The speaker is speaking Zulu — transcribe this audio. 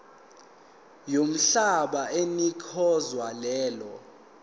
yomhlaba onikezwe lelo